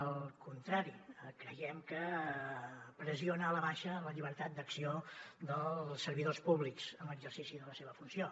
al contrari creiem que pressiona a la baixa la llibertat d’acció dels servidors públics en l’exercici de la seva funció